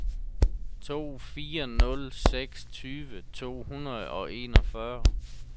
to fire nul seks tyve to hundrede og enogfyrre